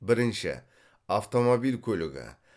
бірінші автомобиль көлігі